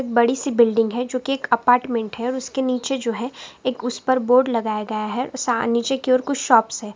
बड़ी सी बिल्डिंग है जो की एक अपार्टमेंट है और उसके नीचे जो है एक उस पर बोर्ड लगाया गया है उसे नीचे की और कुछ शॉप्स है।